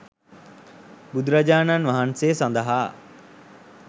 බුදුරජාණන් වහන්සේ සඳහා